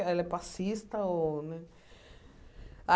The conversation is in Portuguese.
Ela é passista ou, né?